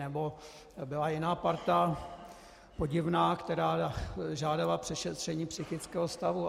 Nebo byla jiná parta, podivná, která žádala přešetření psychického stavu.